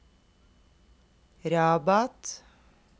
Rabat